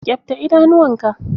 Ƙyabta idanuwa ka!